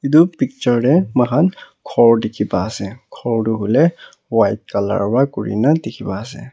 etu picture teh moikhan ghor dikhi pa ase ghor tu hoile white colour para kuri na dikhi pai ase.